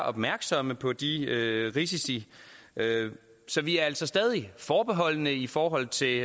opmærksomme på de risici så vi er altså stadig forbeholdende i forhold til